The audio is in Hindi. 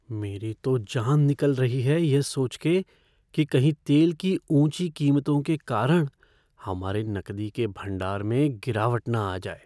मेरी तो जान निकल रही है यह सोच के कि कहीं तेल की ऊंची कीमतों के कारण हमारे नकदी के भंडार में गिरावट न आ जाए।